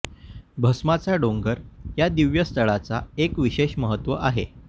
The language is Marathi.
भस्माचा डोंगर या दिव्य स्थळाचा एक विशेष महत्व आहे